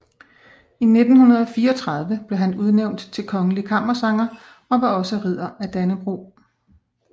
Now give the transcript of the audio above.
I 1934 blev han udnævnt til kongelig kammersanger og var også Ridder af Dannebrog